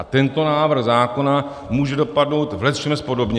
A tento návrh zákona může dopadnout v lecčems podobně.